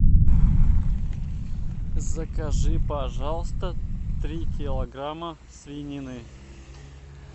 закажи пожалуйста три килограмма свинины